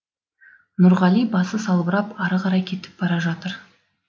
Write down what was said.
нұрғали басы салбырап ары қарай кетіп бара жатыр